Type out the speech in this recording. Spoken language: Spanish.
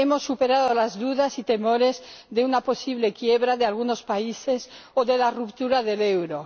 Hemos superado las dudas y temores sobre una posible quiebra de algunos países o sobre la ruptura del euro.